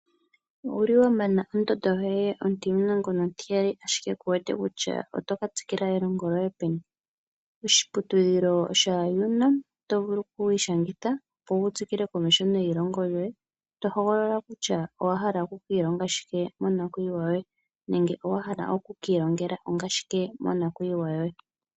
Owa mana ondondo ontimulongo nontiyali ashike ku wete kutya openi to ka tsikila elongo lyoye? Oshiputudhilo sha-UNAM, oto vulu okwiishangitha opo wu tsikile komeho neilongo lyoye. Oto hogolola kutya owa hala oku ka longa shike monakwiiwa yoye nenge owa hala oku ki ilongela shike monakwiiwa yoye.